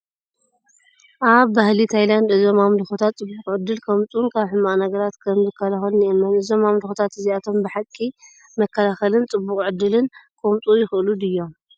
ኣብ ባህሊ ታይላንድ፡ እዞም ኣምልኾታት ጽቡቕ ዕድል ከምጽኡን ካብ ሕማቕ ነገራት ከም ዝከላኸሉን ይእመን። እዞም ኣምልኾታት እዚኣቶም ብሓቂ መከላኸልን ጽቡቕ ዕድልን ከምጽኡ ይኽእሉ ድዮም?